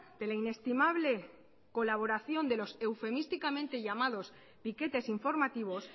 de la inestimable colaboración de los eufemísticamente llamados piquetes informativos